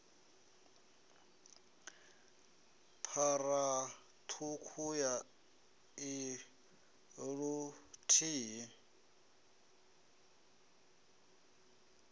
phara ṱhukhu ya i luthihi